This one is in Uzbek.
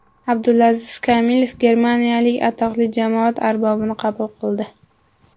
Abdulaziz Kamilov germaniyalik atoqli jamoat arbobini qabul qildi.